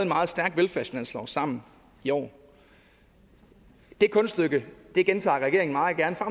meget stærk velfærdsfinanslov sammen i år det kunststykke gentager regeringen